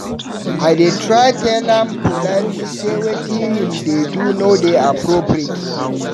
I dey try tell am politely sey wetin him dey do no dey appropriate.